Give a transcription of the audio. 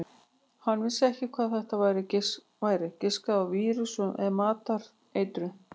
Hann vissi ekki hvað þetta væri, giskaði á vírus eða matareitrun.